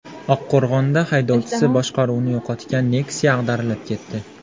Oqqo‘rg‘onda haydovchisi boshqaruvni yo‘qotgan Nexia ag‘darilib ketdi.